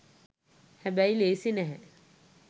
හැබැයි ලේසි නැහැ